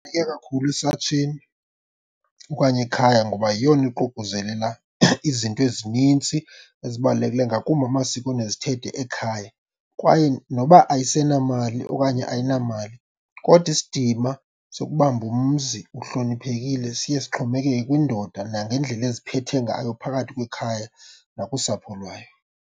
Kakhulu esatsheni okanye ekhaya ngoba yeyona iququzelela izinto ezinintsi ezibalulekileyo ngakumbi amasiko nezithethe ekhaya. Kwaye noba ayisenamali okanye ayinamali kodwa isidima sokubamba umzi uhloniphekile siye sixhomekeke kwindoda nangendlela eziphethe ngayo phakathi kwekhaya nakusapho lwayo.